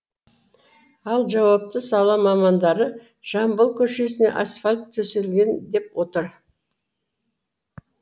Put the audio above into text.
ал жауапты сала мамандары жамбыл көшесіне асфальт төселген деп отыр